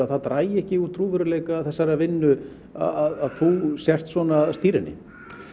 að það dragi ekki úr trúverðugleika þessarar vinnu að þú sért að stýra henni